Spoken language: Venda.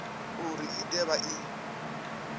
uri i de vha i